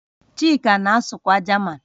Chika na-asụkwa Jaman